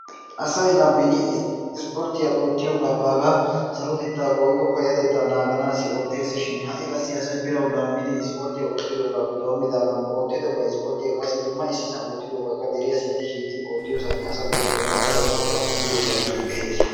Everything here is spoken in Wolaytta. Asay la beni ispporttiyaa oottiyoogaa baagaa sarotettawu woykko payatettaa naaganasi otteesishin ha'i qassi asay birawu laammidi isporttiyaa oottidoogappe doommidaagan oottido ba isporttiyaa qassi dumma issisaan oottidoogaa qa deriyaa sintti shiiqqidi oottiyoo saatiyaa asa ubbay be'anawu daro marccuwa qanxxidi ufayttidi be'ees.